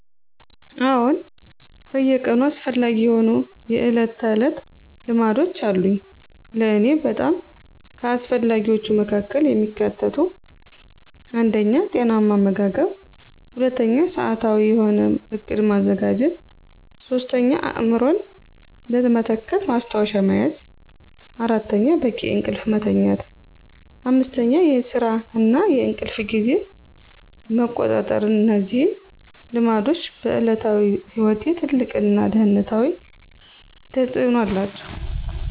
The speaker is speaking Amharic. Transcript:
አዎን በየቀኑ አስፈላጊ የሆኑ የዕለት ተዕለት ልማዶች አሉኝ። ለእኔ በጣም ከአስፈላጊዎቹ መካከል የሚካተቱት 1. ጤናማ አመጋገብ 2. ሰዓታዊ የሆነ ዕቅድ ማዘጋጀት 3. አእምሮን ለመተካት ማስታወሻ መያዝ 4. በቂ እንቅልፍ መተኛት 5. የስራ እና የእንቅልፍ ጊዜን መቆጣጠር እነዚህ ልማዶች በዕለታዊ ሕይወቴ ትልቅ እና ደህንነታዊ ተፅእኖ አላቸው።